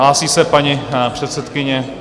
Hlásí se paní předsedkyně.